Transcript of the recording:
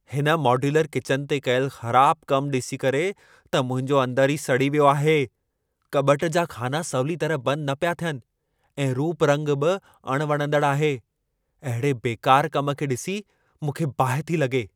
हिन modular kitchen ते कयलु ख़राबु कम ॾिसी करे त मुंहिंजो अंदर ई सड़ी वियो आहे। कॿट जा ख़ाना सवली तरह बंदि न पिया थियनि ऐं रूप रंगु बि अण वणंदड़ु आहे। अहिड़े बेकार कम खे ॾिसी, मूंखे बाहि थी लॻे।